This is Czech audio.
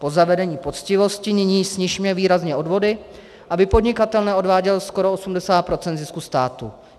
Po zavedení poctivosti nyní snižme výrazně odvody, aby podnikatel neodváděl skoro 80 % zisku státu.